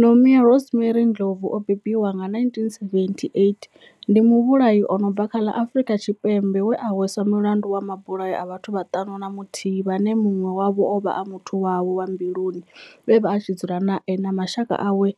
Nomia Rosemary Ndlovu o bebiwaho nga, 1978, ndi muvhulahi a no bva kha ḽa Afrika Tshipembe we a hweswa mulandu wa mabulayo a vhathu vhaṱanu na muthihi ane munwe wavho ovha a muthu wawe wa mbiluni we avha a tshi dzula nae na mashaka awe